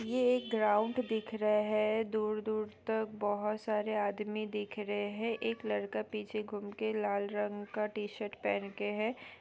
ये एक ग्राउन्ड दिख रहे है दूर-दूर तक बहोत सारे आदमी दिख रहे है एक लड़का पीछे घूम के लाल रंग का टी-शर्ट पहन के है।